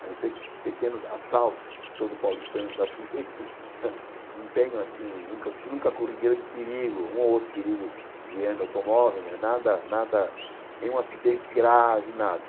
Eu não sei que pequenos assaltos, todo paulistano está sujeito, não tenho assim nunca nunca corri grande perigo, um ou outro perigo guiando automóvel, mas nada nada, nenhum acidente grave, nada.